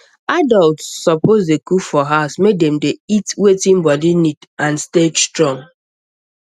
adults suppose dey cook for house make dem dey eat wetin body need and stay strong